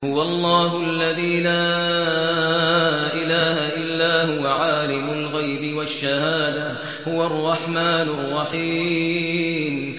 هُوَ اللَّهُ الَّذِي لَا إِلَٰهَ إِلَّا هُوَ ۖ عَالِمُ الْغَيْبِ وَالشَّهَادَةِ ۖ هُوَ الرَّحْمَٰنُ الرَّحِيمُ